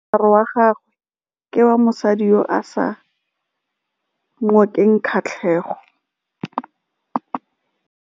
Moaparô wa gagwe ke wa mosadi yo o sa ngôkeng kgatlhegô.